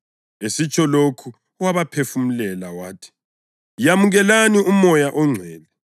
Esitsho lokho wabaphefumulela wathi, “Yamukelani uMoya oNgcwele.